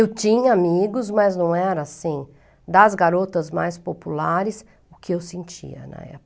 Eu tinha amigos, mas não era assim, das garotas mais populares, o que eu sentia na